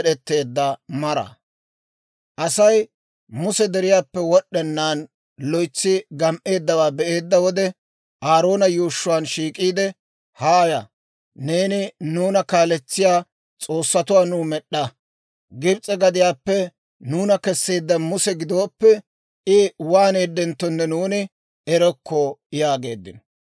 Asay Muse deriyaappe wod'd'ennaan loytsi gam"eeddawaa be'eedda wode, Aaroona yuushshuwaan shiik'iide, «Haaya; neeni nuuna kaaletsiyaa s'oossatuwaa nuw med'd'a. Gibs'e gadiyaappe nuuna kesseedda Musa gidooppe, I waaneedenttonne nuuni erokko!» yaageeddino.